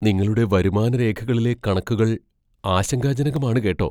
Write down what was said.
നിങ്ങളുടെ വരുമാന രേഖകളിലെ കണക്കുകൾ ആശങ്കാജനകമാണ് കേട്ടോ.